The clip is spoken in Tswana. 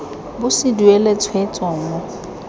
bo se duelwe tshwetso mo